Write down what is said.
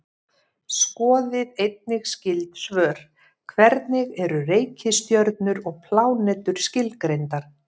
Skoðið einnig skyld svör: Hvernig eru reikistjörnur og plánetur skilgreindar?